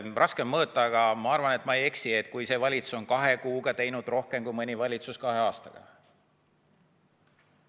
Raske on mõõta, aga ma arvan, et ma ei eksi, et see valitsus on kahe kuuga teinud rohkem kui mõni valitsus kahe aastaga.